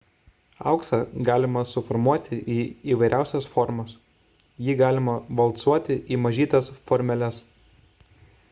auksą galima suformuoti į įvairiausias formas jį galima valcuoti į mažytes formeles